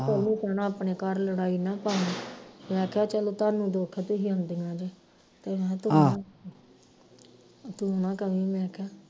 ਉਹਨੂੰ ਕਹਿਣਾ ਆਪਣੇ ਘਰ ਲੜਾਈ ਨਾ ਪਾਈ ਮੈਂ ਕਿਹਾ ਚਲੋ ਤੁਹਾਨੂੰ ਦੁੱਖ ਤੁਹੀ ਆਉਂਦੀਆਂ ਜੇ ਤੇ ਮੈਂ ਤੂੰ ਨਾ ਕਵੀ ਮੈਂ ਕਿਹਾ